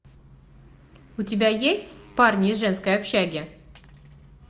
у тебя есть парни из женской общаги